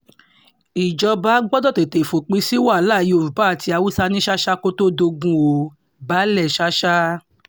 ìjọba gbọdọ̀ tètè fòpin sí wàhálà yorùbá àti haúsá ní ṣàṣà kó tóó dogun o- baálẹ̀ sàsà